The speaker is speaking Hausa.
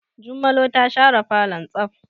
Jummalo ta share falon tsaf.